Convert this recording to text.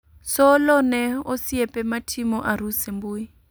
Solo ne osiepe ma timo arus e mbui